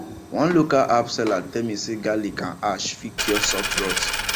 one local herb seller tell me say garlic and ash fit cure soft rot